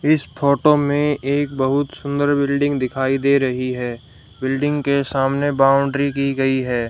इस फोटो में एक बहुत सुंदर बिल्डिंग दिखाई दे रही है बिल्डिंग के सामने बाउंड्री की गई है।